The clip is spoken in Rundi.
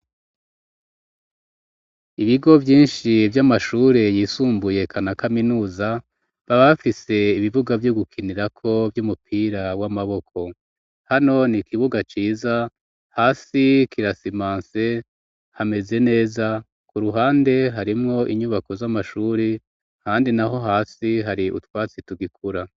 Ibigo vyinshi vy'amashure yisumbuye kana kaminuza babafise ibivuga vyo gukinirako vy'umupira w'amaboko hano ni ikibuga ciza hasi kirasimanse hameze neza ku ruhande harimwo inyubako z'amashure handi na ho hasi hari utwatsi tugikura.